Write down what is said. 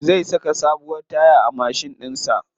Zai saka sabuwar taya a mashin ɗin sa.